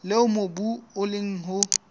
leo mobu o leng ho